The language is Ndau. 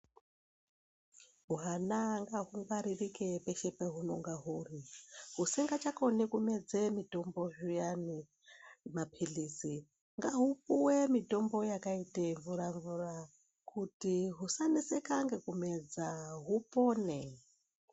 Hwana ngahu ngwaririke peshe pehunonga huri. Husingachakoni kumedze mutombo zviyani mapilizi ngaupuwe mitombo yakaite mvura mvura kuti husanetseka ngekumedza hupone.